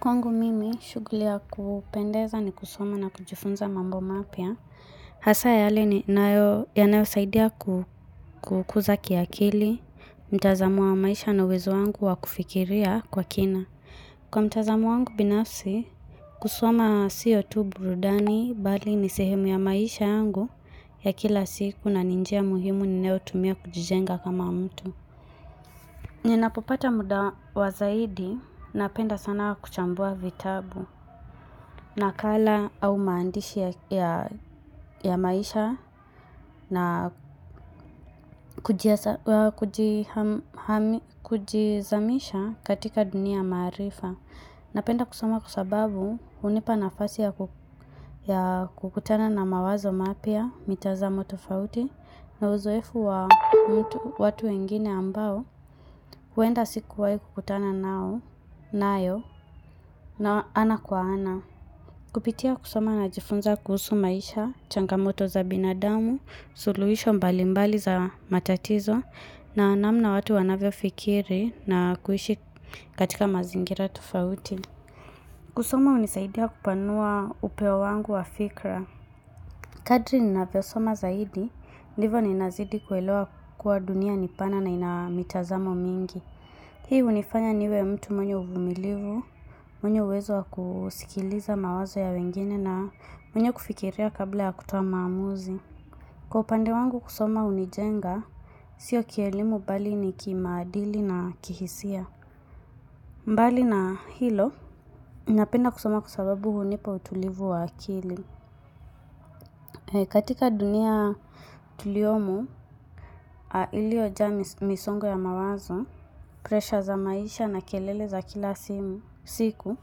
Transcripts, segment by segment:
Kwangu mimi, shughli ya kupendeza ni kusoma na kujifunza mambo mapya. Hasa yale ninayo, yanayosaidia kukuza kiakili, mtazamo wa maisha na uwezo wangu wa kufikiria kwa kina. Kwa mtazamo wangu binafsi, kusoma sio tu burudani bali ni sehemu ya maisha yangu ya kila siku na ni njia muhimu ninayotumia kujijenga kama mtu. Ninapopata muda wa zaidi napenda sana kuchambua vitabu nakala au maandishi ya maisha na kujizamisha katika dunia ya maarifa. Napenda kusoma kwa sababu hunipa nafasi ya kukutana na mawazo mapya mitazamo tofauti na uzoefu wa mtu watu wengine ambao huenda sikuwai kukutana nao nayo nao ana kwa ana. Kupitia kusoma najifunza kuhusu maisha, changamoto za binadamu, suluhisho mbalimbali za matatizo na namna watu wanavyofikiri na kuishi katika mazingira tofauti. Kusoma unisaidia kupanua upeo wangu wa fikra. Kadri ninavyosoma zaidi, ndivo ninazidi kuelewa kuwa dunia ni pana na ina mitazamo mingi. Hii hunifanya niwe mtu mwenye uvumilivu, mwenye uwezo wa kusikiliza mawazo ya wengine na mwenye kufikiria kabla ya kutoa maamuzi. Kwa upande wangu kusoma hunijenga, sio kielimu bali ni kimaadili na kihisia. Mbali na hilo, ninapenda kusoma kwa sababu hunipa utulivu wa akili. Katika dunia tuliomo, iliojaa misongo ya mawazo, pressure za maisha na kelele za kila siku,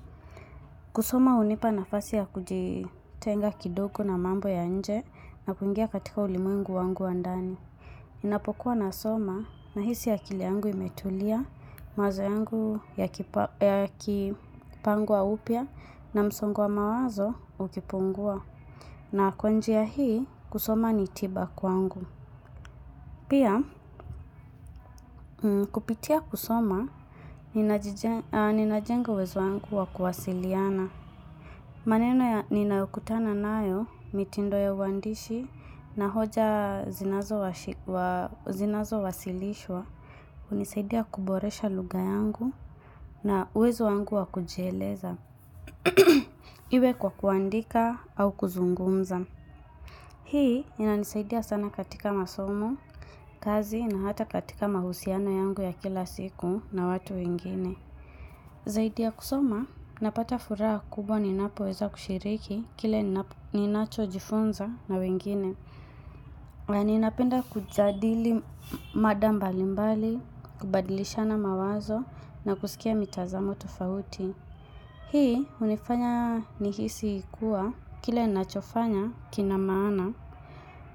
kusoma hunipa nafasi ya kujitenga kidogo na mambo ya nje na kuingia katika ulimwengu wangu wa ndani. Ninapokuwa nasoma, nahisi akili yangu imetulia, mawazo yangu yakipangwa upya na msongo wa mawazo ukipungua. Na kwa njia hii, kusoma ni tiba kwangu. Pia, kupitia kusoma, ninajenga uwezo wangu wa kuwasiliana. Maneno ya ninayokutana nayo, mitindo ya uwandishi, na hoja zinazowasilishwa. Unisaidia kuboresha lugha yangu na uwezo wangu wa kujieleza iwe kwa kuandika au kuzungumza. Hii inanisaidia sana katika masomo, kazi na hata katika mahusiano yangu ya kila siku na watu wengine. Zaidi ya kusoma, napata furaha kubwa ninapoweza kushiriki kile ninachojifunza na wengine. Ninapenda kujadili mada mbalimbali, kubadilishana mawazo na kusikia mitazamo tofauti. Hii hunifanya nihisi kua kile ninachofanya kina maana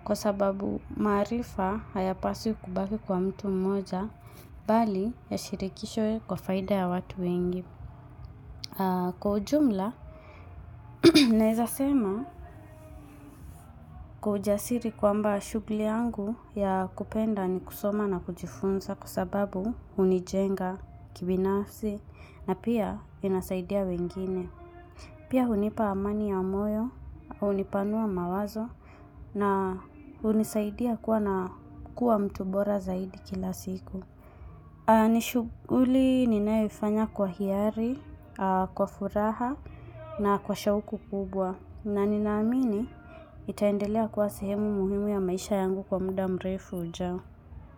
kwa sababu maarifa hayapaswi kubaki kwa mtu mmoja bali yashirikishwe kwa faida ya watu wengi. Kwa ujumla, naeza sema kwa ujasiri kwamba shughli yangu ya kupenda ni kusoma na kujifunza kwa sababu hunijenga kibinafsi na pia inasaidia wengine. Pia hunipa amani ya moyo, hunipanua mawazo na hunisaidia kuwa na kuwa mtu bora zaidi kila siku. Ni shughuli ninayoifanya kwa hiari, kwa furaha na kwa shauku kubwa na ninaamini itaendelea kuwa sehemu muhimu ya maisha yangu kwa mda mrefu ujao.